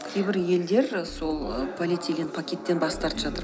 кейбір елдер сол полиэтилен пакеттен бас тартып жатыр